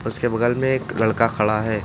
उसके बगल में एक लड़का खड़ा है।